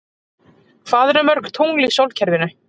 Hvað eru mörg tungl í sólkerfinu?